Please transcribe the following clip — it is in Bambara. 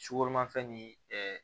Sugoromafɛn ni ɛɛ